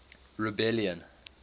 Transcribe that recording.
rebellion